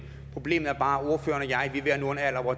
problemet er bare